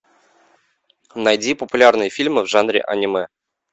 найди популярные фильмы в жанре аниме